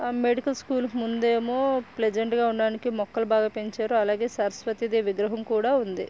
Medical school ముందేమో pleasant గా ఉండడానికి మొక్కలు బాగా పెంచారు అలాగే సరస్వతి విగ్రహం కూడా ఉంది.